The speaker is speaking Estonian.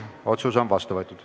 Otsus on vastu võetud.